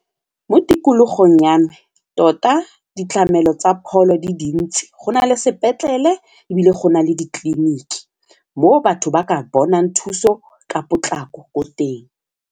Mo tikologong ya me tota ditlamelo tsa pholo di dintsi go na le sepetlele ebile go na le ditleliniki mo batho ba ka bonang thuso ka potlako ko teng.